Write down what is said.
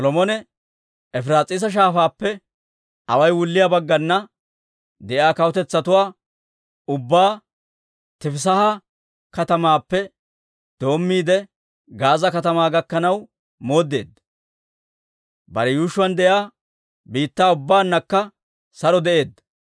Solomone Efiraas'iisa Shaafaappe away wulliyaa baggana de'iyaa kawutetsatuwaa ubbaa Tifisaaha katamaappe doommiide Gaaza katamaa gakkanaw mooddeedda; bare yuushshuwaan de'iyaa biittaa ubbaannakka saro de'eedda.